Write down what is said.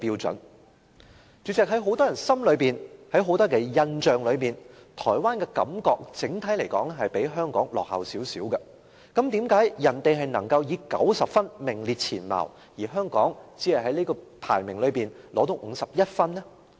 主席，在很多人的印象中，台灣整體而言比香港落後，但為何台灣能夠以90分名列前茅，而香港只能在這個排名榜中取得51分呢？